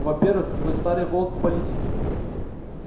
во-первых вы старый волк в политике